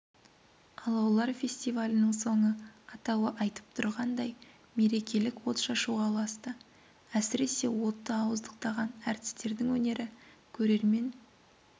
алаулар фестивалінің соңы атауы айтып тұрғандай мерекелік от шашуға ұласты әсіресе отты ауыздықтаған әртістердің өнері көрермен